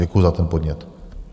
Děkuji za ten podnět.